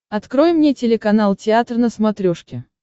открой мне телеканал театр на смотрешке